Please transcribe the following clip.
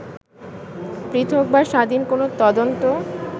পৃথক বা স্বাধীন কোনো তদন্ত